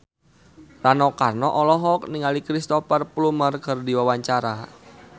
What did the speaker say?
Rano Karno olohok ningali Cristhoper Plumer keur diwawancara